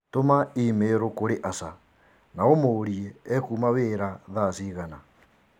Tũma i-mīrū kũrĩ Asha na ũmũũrie ekuma wĩra thaa cigana